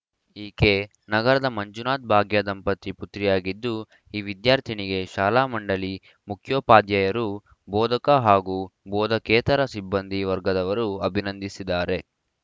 ಈಕೆ ನಗರದ ಮಂಜುನಾಥ್‌ಭಾಗ್ಯ ದಂಪತಿ ಪುತ್ರಿಯಾಗಿದ್ದು ಈ ವಿದ್ಯಾರ್ಥಿನಿಗೆ ಶಾಲಾ ಮಂಡಳಿ ಮುಖ್ಯೋಪಾಧ್ಯಾಯರು ಬೋಧಕ ಹಾಗೂ ಬೋಧಕೇತರ ಸಿಬ್ಬಂದಿ ವರ್ಗದವರು ಅಭಿನಂದಿಸಿದಾರೆ